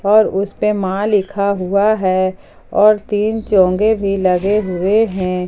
और उस पे मां लिखा हुआ है और तीन चोंगे भी लगे हुए हैं।